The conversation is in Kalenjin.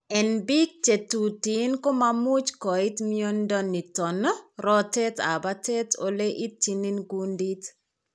En biik che tuten komamuche koit mnyondo niton rotet ab batai ole itchin kundit